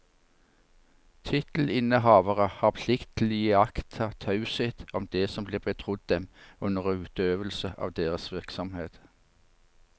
Tittelinnehavere har plikt til å iaktta taushet om det som blir betrodd dem under utøvelse av deres virksomhet.